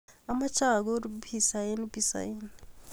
Amache akur pizza eng pizza inn